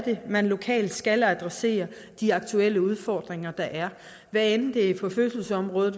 man lokalt skal adressere de aktuelle udfordringer der er hvad enten det er på fødselsområdet